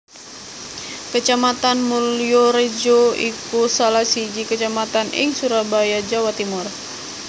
Kecamatan Mulyorejo iku salah siji kecamatan ing Surabaya Jawa Timur